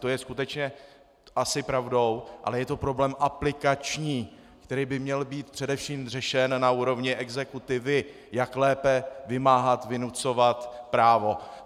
To je skutečně asi pravdou, ale je to problém aplikační, který by měl být především řešen na úrovni exekutivy, jak lépe vymáhat, vynucovat právo.